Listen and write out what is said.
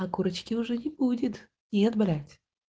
а курочки уже не будет нет блять